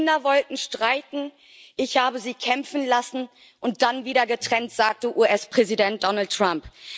Die Kinder wollten streiten, ich habe sie kämpfen lassen und dann wieder getrennt, sagte US-Präsident Donald Trump.